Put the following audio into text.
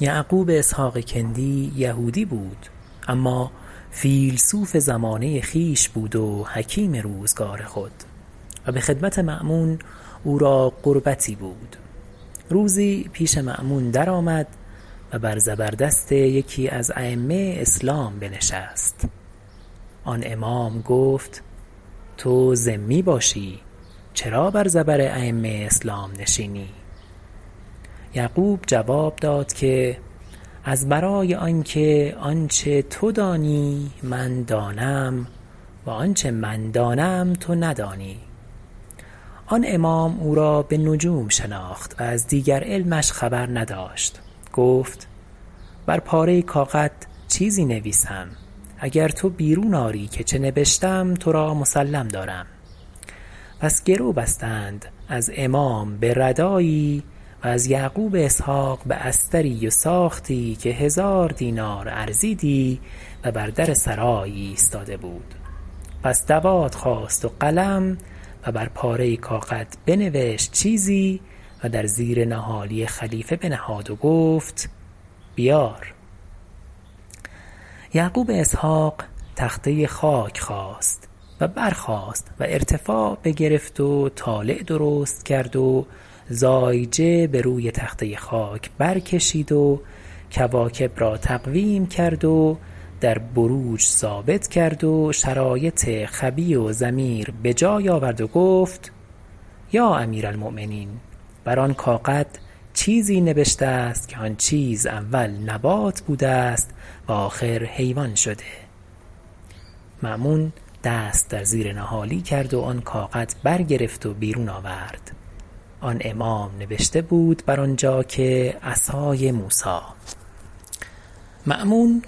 یعقوب اسحق کندی یهودی بود اما فیلسوف زمانه خویش بود و حکیم روزگار خود و بخدمت مأمون او را قربتی بود روزی پیش مأمون درآمد و بر زبر دست یکی از ایمه اسلام بنشست آن امام گفت تو ذمی باشی چرا بر زبر ایمه اسلام نشینی یعقوب جواب داد که از برای آنکه آنچه تو دانی من دانم و آنچه من دانم تو ندانی آن امام او را بنجوم شناخت و از دیگر علمش خبر نداشت گفت بر پاره کاغد چیزی نویسم اگر تو بیرون آری که چه نبشتم ترا مسلم دارم پس گرو بستند از امام بردایی و از یعقوب اسحق باستری و ساختی که هزار دینار ارزیدی و بر در سرای ایستاده بود پس دوات خواست و قلم و بر پاره کاغد بنوشت چیزی و در زیر نهالی خلیفه بنهاد و گفت بیار یعقوب اسحق تخته خاک خواست و برخاست و ارتفاع بگرفت و طالع درست کرد و زایجه بروی تخته خاک بر کشید و کواکب را تقویم کرد و در بروج ثابت کرد و شرایط خبی و ضمیر بجای آورد و گفت یا امیرالمؤمنین بر آن کاغد چیزی نبشته است که آن چیز اول نبات بوده است و آخر حیوان شده مأمون دست در زیر نهالی کرد و آن کاغد بر گرفت و بیرون آورد آن امام نوشته بود بر آنجا که عصای موسی مأمون